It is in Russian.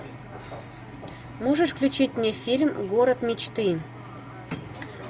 можешь включить мне фильм город мечты